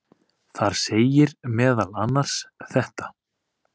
Þar segir meðal annars þetta: